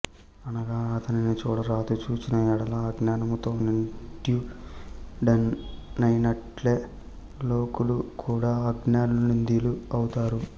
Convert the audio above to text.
అనగా అతనిని చూడరాదు చూచిన యెడల అజ్ఞానముతో నింద్యుడయినట్లే లోకులు కూడా అజ్ఞానులు నింద్యులు అవుతారు